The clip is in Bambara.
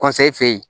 fɛ yen